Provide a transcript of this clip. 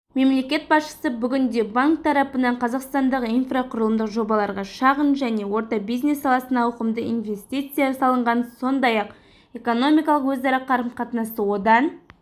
мемлекет басшысы бүгінде банк тарапынан қазақстандағы инфрақұрылымдық жобаларға шағын және орта бизнес саласына ауқымды инвестиция салынғанын сондай-ақ экономикалық өзара қарым-қатынасты одан